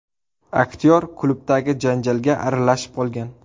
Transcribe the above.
Aktyor klubdagi janjalga aralashib qolgan.